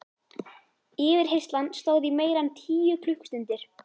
Yfirheyrslan stóð í meira en tíu klukkustundir.